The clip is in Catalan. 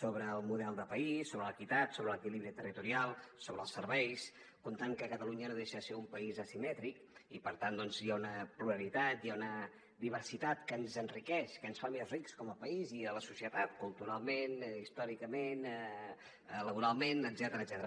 sobre el model de país sobre l’equitat sobre l’equilibri territorial sobre els serveis comptant que catalunya no deixa de ser un país asimètric i per tant doncs hi ha una pluralitat hi ha una diversitat que ens enriqueix que ens fa més rics com a país i com a societat culturalment històricament laboralment etcètera